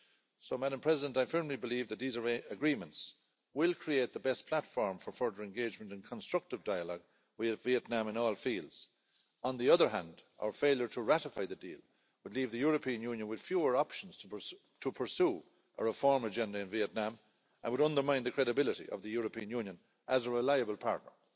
So Madam President, I firmly believe that these agreements will create the best platform for further engagement and constructive dialogue with Vietnam in all fields. On the other hand, our failure to ratify the deal would leave the European Union with fewer options to pursue a reform agenda in Vietnam and would undermine the credibility of the European Union as a reliable partner.